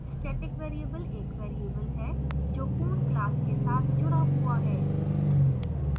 static variable एक variable है जो पूर्ण class के साथ जु़डा हुआ है